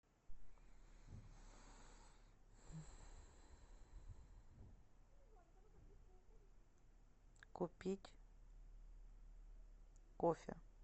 купить кофе